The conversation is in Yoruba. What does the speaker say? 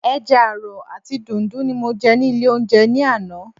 Ẹja àrọ̀ àti dùndú ni mo jẹ ní ilé oúnjẹ ní àná.